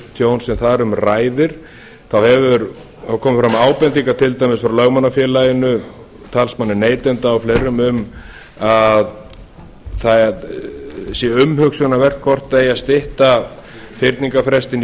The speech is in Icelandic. tjón sem þar um ræðir þá hafa komið fram ábendingar til dæmis frá lögmannafélaginu talsmanni neytanda og fleirum um að það sé umhugsunarvert hvort eigi að stytta fyrningarfrestinn í fjögur